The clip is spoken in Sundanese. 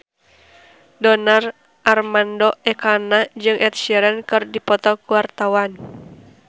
Donar Armando Ekana jeung Ed Sheeran keur dipoto ku wartawan